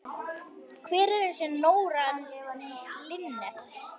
Hver er þessi Nóra Linnet?